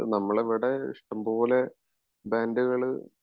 അതാണ് നമ്മളിവിടെ ഇഷ്ടംപോലെ ബാന്ഡുകള്